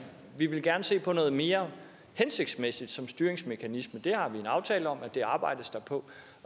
vil gerne se på noget mere hensigtsmæssigt som styringsmekanisme det har vi en aftale om at der arbejdes på